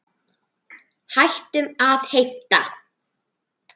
Hættum að heimta!